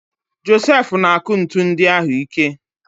Josef na-akụ ntu ndị ahụ ike.